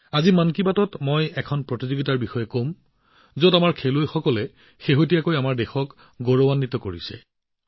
আজি মন কী বাতত শেহতীয়াকৈ আমাৰ খেলুৱৈসকলে ৰাষ্ট্ৰীয় পতাকা উত্তোলন কৰা প্ৰতিযোগিতা এখনৰ কথা কম